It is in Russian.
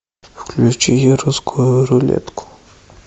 включи русскую рулетку